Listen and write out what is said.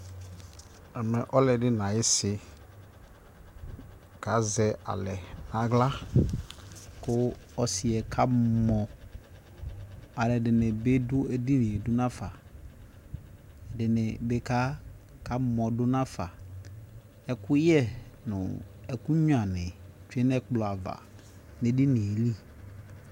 ɛmɛ ɔlodi na ayi - ɔsi kazɛ alɛ nu aɣla ku asiɛ ka mɔ alɔdini by du edinie du naƒa ɛdini by ka mɔ du nafa ekuyɛ nu ekugnoa ni tchue nu ɛklɔava nu edinie li